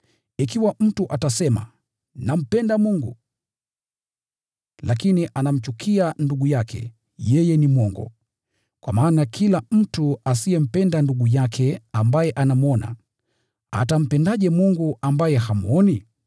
Ikiwa mtu atasema, “Nampenda Mungu,” lakini anamchukia ndugu yake, yeye ni mwongo. Kwa maana kila mtu asiyempenda ndugu yake ambaye anamwona, atampendaje Mungu asiyemuona?